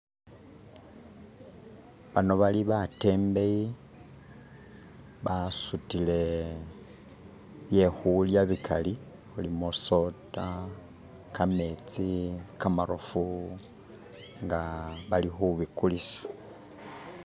Bano bali batembeyi basutile byekhulya bikali mulimo soda, kametsi, kamarofu nga bali khubikulisa.